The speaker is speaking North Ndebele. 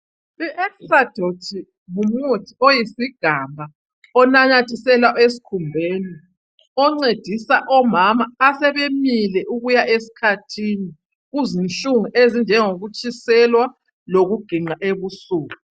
IEstradot ngumuthi oyisigamba onanyathiselwa esikhumbeni oncedisa omama asebemile ukuya esikhathini, kuzinhlungu ezinjengokutshiselwa lokuginqa ebusuku.